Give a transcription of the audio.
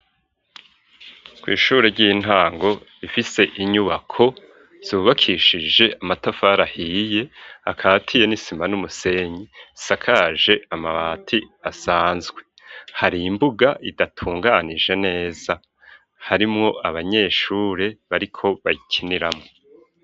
Kw'ishure ry'intango ifise inyubako zubakishije amatafar ahiye akatiye n'isima n'umusenyi sakaje amabati asanzwe, hari imbuga idatunganije neza, harimwo abanyeshure bariko bayikiniramwo.